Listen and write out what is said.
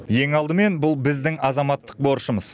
ең алдымен бұл біздің азаматтық борышымыз